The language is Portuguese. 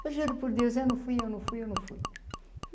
Eu juro por Deus, eu não fui, eu não fui, eu não fui.